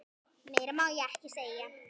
Meira má ég ekki segja.